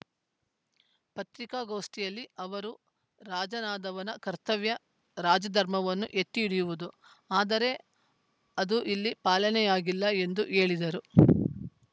ಪತ್ರಿಕಾಗೋಷ್ಠಿಯಲ್ಲಿ ಅವರು ರಾಜನಾದವನ ಕರ್ತವ್ಯ ರಾಜಧರ್ಮವನ್ನು ಎತ್ತಿ ಹಿಡಿಯುವುದು ಆದರೆ ಅದು ಇಲ್ಲಿ ಪಾಲನೆಯಾಗಿಲ್ಲ ಎಂದು ಹೇಳಿದರು